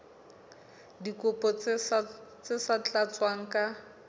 dikopo tse sa tlatswang ka